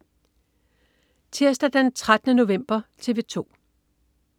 Tirsdag den 13. november - TV 2: